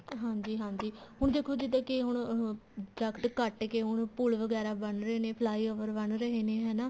ਹਾਂਜੀ ਹਾਂਜੀ ਹੁਣ ਦੇਖੋ ਕੇ ਜਿੱਦਾਂ ਕੇ ਹੁਣ ਦਰਖਤ ਕੱਟ ਕੇ ਹੁਣ ਪੂਲ ਵਗੈਰਾ ਬਣ ਰਹੇ ਨੇ flyover ਬਣ ਰਹੇ ਨੇ ਹਨਾ